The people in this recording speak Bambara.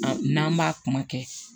N'an b'a kuma kɛ